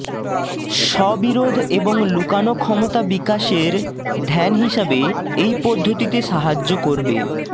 স্ববিরোধ এবং লুকানো ক্ষমতা বিকাশের ধ্যান হিসাবে এই পদ্ধতিতে সাহায্য করবে